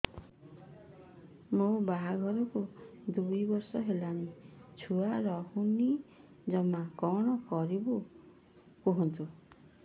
ମୋ ବାହାଘରକୁ ଦୁଇ ବର୍ଷ ହେଲାଣି ଛୁଆ ରହୁନି ଜମା କଣ କରିବୁ କୁହନ୍ତୁ